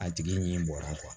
A tigi ɲɛ bɔra